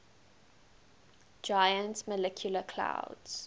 giant molecular clouds